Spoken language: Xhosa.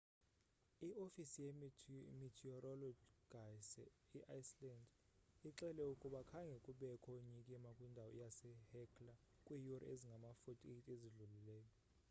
iofisi ye-meteorologyyase iceland ixele ukuba khange kubekho nyikima kwindawo yasehekla kwiiyure ezingama-48 ezidlulileyo